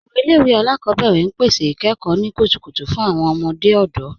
Awọn ilẹ̀-iwe alákọbẹ̀rẹ̀ n pẹ̀sẹ̀ ikẹ́kọ̀ ni kútùkùtù fún awọn ọmọdé ọdọ.